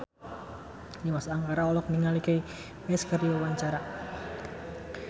Dimas Anggara olohok ningali Kanye West keur diwawancara